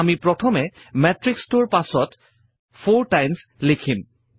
আমি প্ৰথমে মেত্ৰিক্সটোৰ পাছত 4 টাইমছ লিখিম